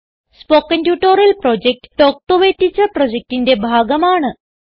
spoken tutorial project talk to a teacher പ്രൊജക്റ്റിന്റെ ഭാഗമാണ്